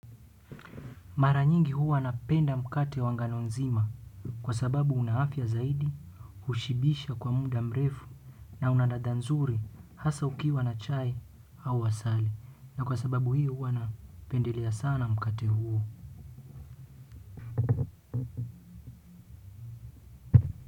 Mara nyingi huwa napenda mkate wa ngano nzima kwa sababu unaafya zaidi, hushibisha kwa muda mrefu na unaladha nzuri hasa ukiwa na chai au asali. Na kwa sababu hiyo huwa napendelea sana mkate huo.